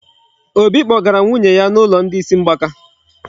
Obi kpọgara nwunye ya n'ụlọ isi ndị mgbaka.